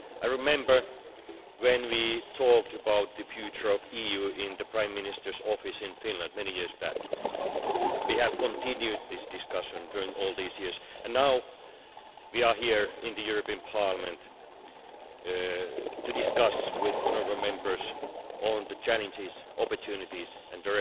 I remember when we talked about the future of the EU in the Prime Minister's office in Finland many years back. We have continued this discussion during all these years, and now we are here in the European Parliament to discuss with you, honourable Members, the challenges, opportunities and